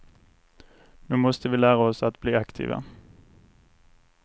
Nu måste vi lära oss att bli aktiva.